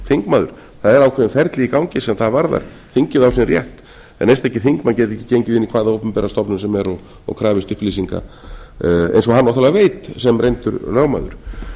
þingmaður það er ákveðið ferli í gangi hvað það varðar þingið á sinn rétt en einstakir þingmenn geta ekki gengið inn í hvaða opinbera stofnun sem er og krafist upplýsinga eins og hann náttúrlega veit sem reyndur lögmaður